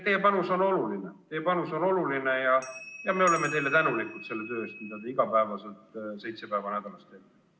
Teie panus on oluline ja me oleme teile tänulikud selle töö eest, mida te iga päev, seitse päeva nädalas teete.